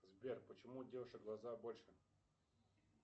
сбер почему у девушек глаза больше